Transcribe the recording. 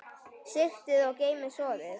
Sigtið og geymið soðið.